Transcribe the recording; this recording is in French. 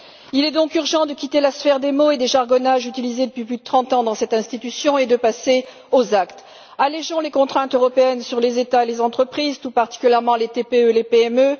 Il est donc urgent de quitter la sphère des mots et des jargons utilisés depuis plus de 30 ans dans cette institution et de passer aux actes allégeons les contraintes européennes sur les États et les entreprises, tout particulièrement les TPE et les PME